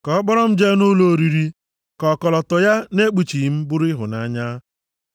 Ka ọ kpọrọ m jee nʼụlọ oriri, ka ọkọlọtọ ya nʼekpuchi m bụrụ ịhụnanya.